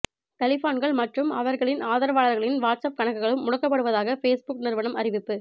தலிபான்கள் மற்றும் அவர்களின் ஆதரவாளர்களின் வாட்ஸ்அப் கணக்குகளும் முடக்கப்படுவதாக ஃபேஸ்புக் நிறுவனம் அறிவிப்பு